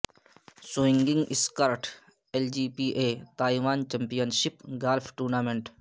swinging skirt L P G A Taiwan championship golf tournament